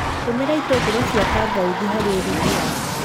Tũmĩra ĩtũngũrũ cia kangauthi harĩ ũrugi waku.